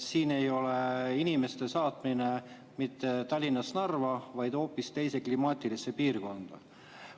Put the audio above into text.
Siin ei ole inimeste saatmine mitte Tallinnast Narva, vaid hoopis teise klimaatilisse piirkonda.